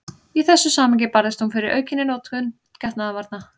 Í þessu samhengi barðist hún fyrir aukinni notkun getnaðarvarna.